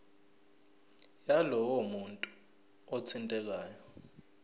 yalowo muntu othintekayo